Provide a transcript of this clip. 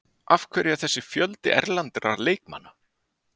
Af hverju er þessi fjöldi erlendra leikmanna?